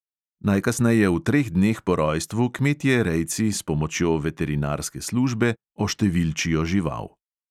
Najkasneje v treh dneh po rojstvu kmetje rejci s pomočjo veterinarske službe oštevilčijo žival.